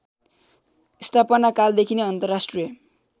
स्थापनाकालदेखि नै अन्तर्राष्ट्रिय